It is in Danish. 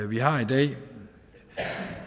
vi har i dag